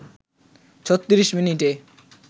৩৬ মিনিটে